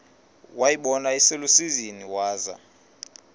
wayibona iselusizini waza